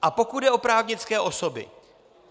A pokud jde o právnické osoby.